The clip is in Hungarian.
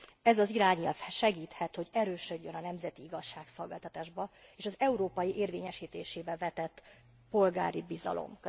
Ez az irányelv segíthet, hogy erősödjön a nemzeti igazságszolgáltatásba, és az európai érvényesítésébe vetett polgári bizalom.